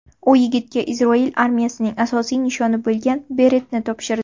U yigitga Isroil armiyasining asosiy nishoni bo‘lgan beretni topshirdi.